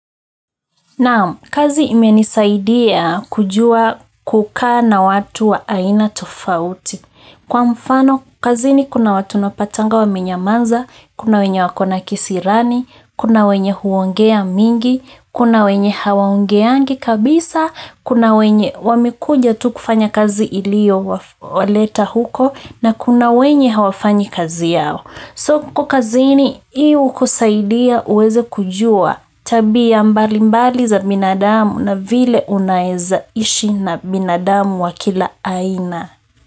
Kazi imenisaidia kujua kukaa na watu wa aina tofauti. Kwa mfano kazini kuna watu napatana nao, wanyamavu, kuna wenye kisirani, kuna wenye huongea mengi, kuna wenye hawaongei kabisa, kuna wenye wamekuja tu kufanya kazi iliyowaleta huko na kuna wenye hawafanyi kazi yao. So kazini hiyo hukusaidia uweze kujua tabia mbalimbali za binadamu na vile unavyoweza kuishi na binadamu wa kila aina.